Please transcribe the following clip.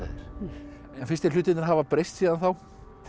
þér finnst þér hlutirnir hafa breyst síðan þá